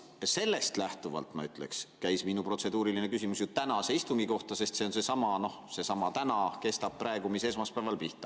Sellest lähtuvalt ma ütleksin, et minu protseduuriline küsimus siiski käis tänase istungi kohta, sest seesama täna, mis esmaspäeval pihta hakkas, kestab praegugi.